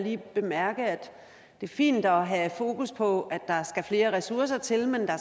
lige bemærke at det er fint at have fokus på at der skal flere ressourcer til men der